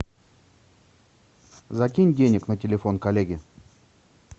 закинь денег на телефон коллеге